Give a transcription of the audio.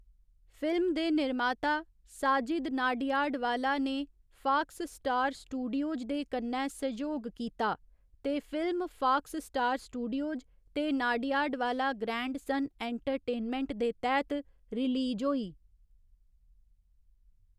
Film दे निर्माता साजिद नाडियाडवाला ने फाक्स स्टार स्टूडियोज दे कन्नै सैहयोग कीता ते फिल्म फाक्स स्टार स्टूडियोज ते नाडियाडवाला ग्रैंडसन एंटरटेनमेंट दे तैह्त रिलीज होई।